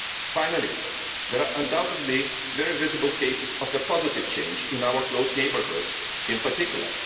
Finally, there are undoubtedly very visible cases of a positive change in our close neighbourhood in particular.